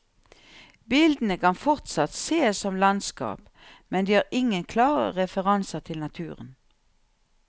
Bildene kan fortsatt sees som landskap, men de har ingen klare referanser til naturen.